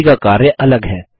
सभी का कार्य अलग है